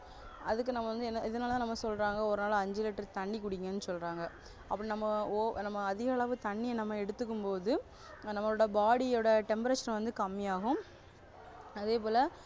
அதுக்கு நம்ம வந்து இதனாலதான் நம்ம சொல்றாங்க ஒரு நாளைக்கு ஐந்து liter தண்ணி குடிங்கன்னு சொல்றாங்க அப்படி நம்ம நம்ம அதிகளவு தண்ணிய நம்ம எடுத்துக்கும் போது நம்மளோட body யோட temperature வந்து கம்மியாகும் அதேபோல